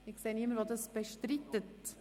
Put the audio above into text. – Ich sehe niemanden, der es bestreitet.